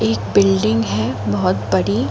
एक बिल्डिंग है बहोत(बहुत) बड़ी।